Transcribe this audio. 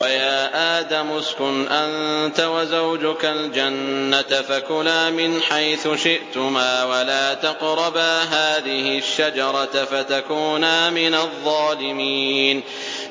وَيَا آدَمُ اسْكُنْ أَنتَ وَزَوْجُكَ الْجَنَّةَ فَكُلَا مِنْ حَيْثُ شِئْتُمَا وَلَا تَقْرَبَا هَٰذِهِ الشَّجَرَةَ فَتَكُونَا مِنَ الظَّالِمِينَ